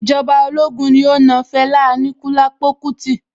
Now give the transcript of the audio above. Ìjọba ológun ní ó na Fẹlá Aníkúlápó kútí.